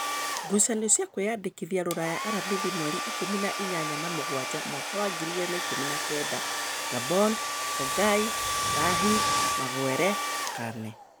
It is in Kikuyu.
Ngucanio cia kwĩyandĩkithia Ruraya Aramithi mweri Ikũmi nainyanya wa mũgwanja mwaka wa ngiri igĩrĩ na ikũmi na kenda: Ngamboni, Kongai, Zahi, Maguere, Cane